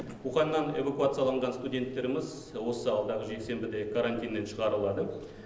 уханьнан эвакуацияланған студенттеріміз осы алдағы жексенбіде карантиннен шығарылады